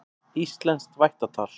Íslenskt vættatal.